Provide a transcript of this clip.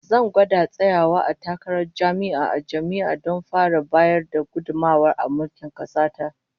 Zan gwada tsayawa takarar jami'i a jam'iyya don fara bayar da gudummawa a mulkin kasa ta